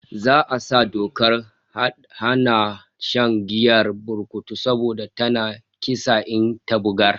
Za'a sa dokar hadawa da shan giyar burkutu saboda tana kisa in ta gurbata